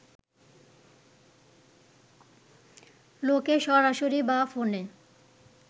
লোকে সরাসরি বা ফোনে